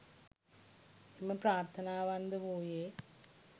එම ප්‍රාර්ථනාවන්ද වූයේ